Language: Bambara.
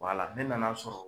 Wala ne nana sɔrɔ